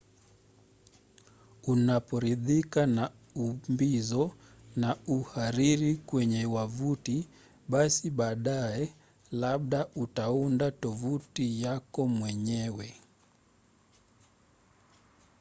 unaporidhika na umbizo na uhariri kwenye wavuti basi baadaye labda utaunda tovuti yako mwenyewe